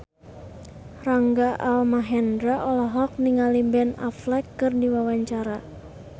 Rangga Almahendra olohok ningali Ben Affleck keur diwawancara